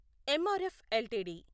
MRF LTD